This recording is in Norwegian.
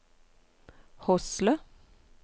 Hosle